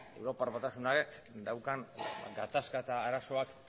europar batasunak daukan gatazka eta arazoak